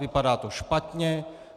Vypadá to špatně.